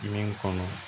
Ɲɛ kɔnɔ